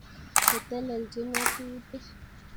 Che telelchini ngatutik